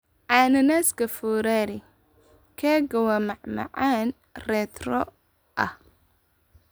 Cananaaska foorari keega waa macmacaan retro ah.